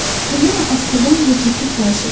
O yenə astadan və ciddi xahiş etdi: